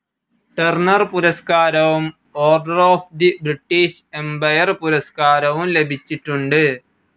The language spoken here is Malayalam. ടർണർ പുരസ്കാരവും Order of the British Empire പുരസ്കാരവും ലഭിച്ചിട്ടുണ്ട്.